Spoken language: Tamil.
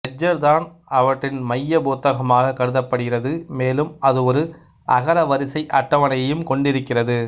லெட்ஜர் தான் அவற்றின் மையப் புத்தகமாகக் கருதப்படுகிறது மேலும் அது ஒரு அகரவரிசை அட்டவணையையும் கொண்டிருக்கிறது